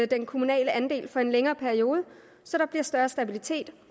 den kommunale andel for en længere periode så der bliver større stabilitet